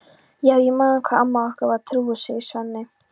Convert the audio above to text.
Já, ég man hvað amma okkar var trúuð, segir Svenni.